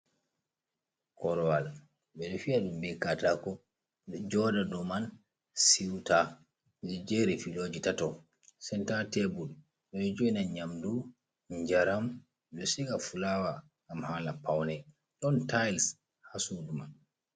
Korwal ɓe ɗo fiya ɗum be katako ɓe joda dou man siuta jeri filoji tatto, senta tebul ɗo jo'ina nyamdu njaram ɗo siga fulawa gam hala pawne, don tiles haa sudu man.